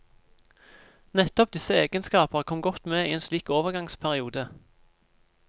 Nettopp disse egenskaper kom godt med i en slik overgangsperiode.